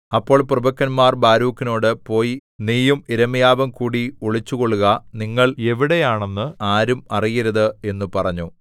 അപ്പോൾ പ്രഭുക്കന്മാർ ബാരൂക്കിനോട് പോയി നീയും യിരെമ്യാവും കൂടി ഒളിച്ചുകൊള്ളുക നിങ്ങൾ എവിടെയാണെന്ന് ആരും അറിയരുത് എന്നു പറഞ്ഞു